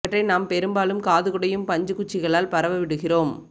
இவற்றை நாம் பெரும்பாலும் காது குடையும் பஞ்சு குச்சிகளால் பரவ விடுகிறோம்